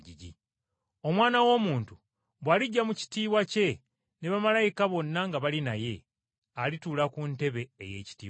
“Omwana w’Omuntu bw’alijja mu kitiibwa kye ne bamalayika bonna nga bali naye, alituula ku ntebe ey’ekitiibwa kye.